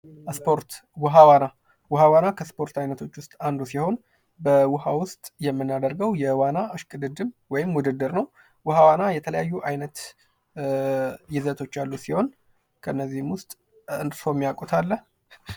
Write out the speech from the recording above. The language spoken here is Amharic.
እስፖርት ውሃ ዋና ውሃ ዋና ስፖርት አይነቶች ውስጥ አንዱ ሲሆን በውሃ ውስጥ የምናደርገው የዋና እሽቅድምድም ወይም ውድድር ነው ።ውሃ ዋና የተለያዩ አይነት ይዘቶች ያሉት ሲሆን ከነዚህም ውስጥ እርስዎ የሚያውቁት አለ?